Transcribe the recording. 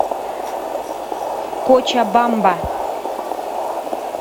кочабамба